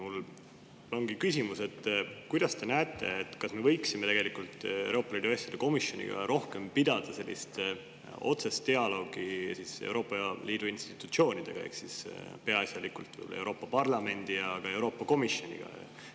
Mul on küsimus: kuidas te näete, kas me võiksime Euroopa Liidu asjade komisjonis pidada rohkem otsest dialoogi Euroopa Liidu institutsioonidega, peaasjalikult Euroopa Parlamendi ja Euroopa Komisjoniga?